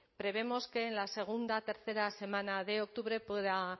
prevemos que en la segunda tercera semana de octubre pueda